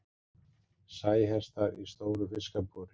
Sæhestar í stóru fiskabúri.